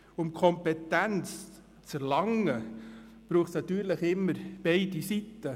Um Kompetenz zu erlangen, braucht es immer beide Seiten.